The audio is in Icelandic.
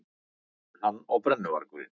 Hann og brennuvargurinn.